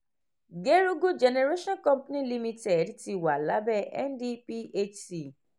gerugu generation company limited ti wà lábẹ́ ndphc